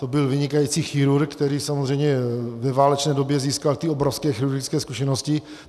On byl vynikající chirurg, který samozřejmě ve válečné době získal ty obrovské chirurgické zkušenosti.